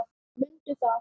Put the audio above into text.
Mundu það!